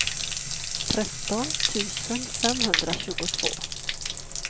tretton tusen femhundratjugotvå